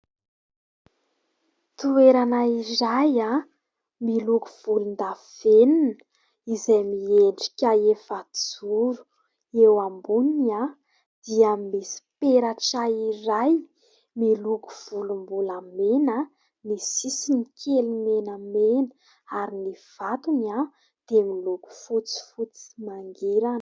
Toerana iray miloko volondavenona, izay miendrika efa-joro. Eo amboniny dia misy peratra iray, miloko volombolamena, misy sisiny kely menamena. Ary ny vatony dia miloko fotsifotsy mangirana.